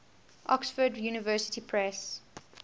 oxford university press